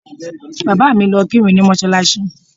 Bàbá mi lọ kírun ní mọ́ṣáláṣí